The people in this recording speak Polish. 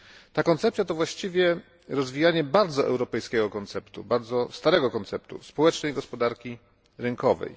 Ta koncepcja to właściwie rozwijanie bardzo europejskiego konceptu, bardzo starego konceptu społecznej gospodarki rynkowej.